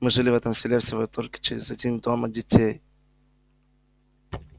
мы жили в этом селе всего только через один дом от детей